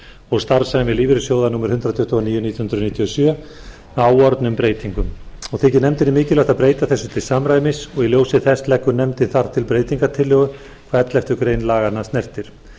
og starfsemi lífeyrissjóða númer hundrað tuttugu og níu nítján hundruð níutíu og sjö með áorðnum breytingum og þykir nefndinni mikilvægt að breyta þessu til samræmis í ljósi þessa leggur nefndin því til breytingartillögu hvað elleftu grein laganna snertir